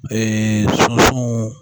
sunsun